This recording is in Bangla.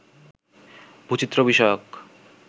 ভূচিত্র বিষয়ক